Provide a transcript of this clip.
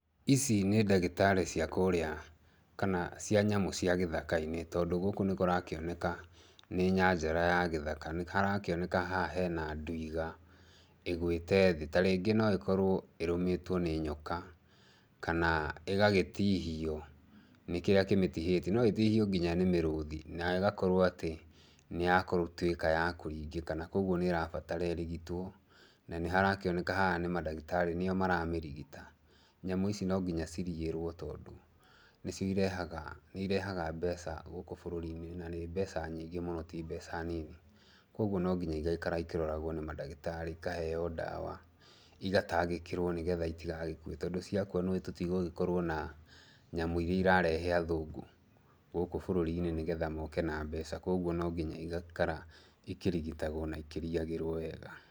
Ici nĩ ndagĩtarĩ cia kũrĩa, kana cia nyamũ cia gĩthaka-inĩ, tondũ gũkũ nĩkũrakĩoneka, nĩ nyanjara ya gĩthaka. Nĩharakĩoneka haha hena ndwiga ĩgũĩte thĩ. Ta rĩngĩ no ĩkorwo ĩrũmĩtwo nĩ nyoka, kana ĩgagĩtihio, nĩ kĩrĩa kĩmĩtihĩtie. No ĩtihio nginya nĩ mĩrũthi, nayo ĩgakorwo atĩ nĩyatuĩka ya kũringĩka na kuoguo nĩĩrabatara ĩrigitwo. Na nĩharakĩoneka haha nĩ mandagĩtarĩ, nĩo maramĩrigita. Nyamũ ici no nginya cirigĩrwo tondũ nĩcio irehaga, nĩirehaga mbeca gũkũ bũrũri-inĩ na nĩ mbeca nyingĩ mũno ti mbeca nini. kuoguo no nginya igaikara ikĩroragwo nĩ mandagĩtarĩ, ikaheo ndawa, igatangĩkĩrwo nĩgetha itigagĩkue, tondũ ciakua nĩũĩ tũtigũgĩkorwo na nyamũ iria irarehe athũgũ, gũkũ bũrũri-inĩ nĩgetha moke na mbeca kuoguo no nginya igaikara ikĩrigitagwo na ikĩriyagĩrwo wega.